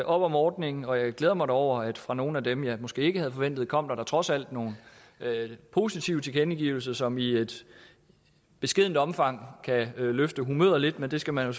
op om ordningen og jeg glæder mig da over at fra nogle af dem jeg måske ikke forventede kom der trods alt nogle positive tilkendegivelser som i et beskedent omfang kan løfte humøret lidt og det skal man jo